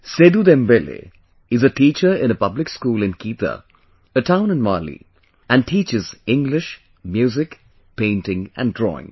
Sedu Dembele, is a teacher in a public school in Kita, a town in Mali, and teaches English, Music, Painting, and drawing